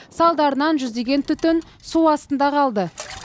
салдарынан жүздеген түтін су астында қалды